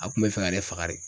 A kun bɛ fɛ ka faga de.